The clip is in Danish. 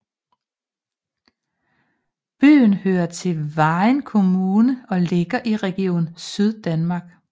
Byen hører til Vejen Kommune og ligger i Region Syddanmark